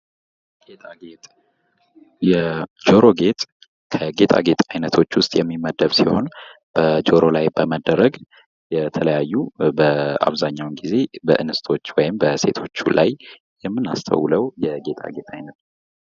ጌጣጌጥ የጆሮ ጌጥ፦ ከጌጣጌጥ አይነቶች ውስጥ የሚመደብ ሲሆን በጆሮ ላይ በመደረክ አብዛኛውን ጊዜ በእንስቶች ወይም በሴቶች ላይ የምናስተውለው የጌጣጌጥ አይነት ነው።